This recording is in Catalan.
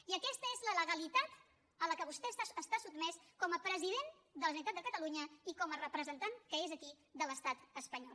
i aquesta és la legalitat a la qual vostè està sotmès com a president de la generalitat de catalunya i com a representant que és aquí de l’estat espanyol